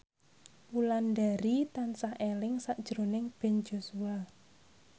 Wulandari tansah eling sakjroning Ben Joshua